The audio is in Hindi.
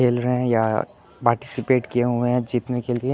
खेल रहे हैं या पार्टिसिपेट किए हुए हैं जीतने के लिए।